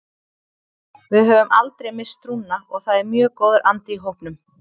Við höfum aldrei misst trúna og það er mjög góður andi í hópnum.